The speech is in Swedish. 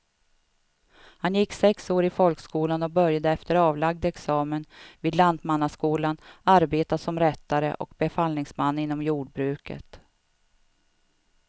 Han gick sex år i folkskolan och började efter avlagd examen vid lantmannaskolan arbeta som rättare och befallningsman inom jordbruket.